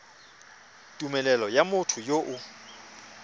tumelelo ya motho yo o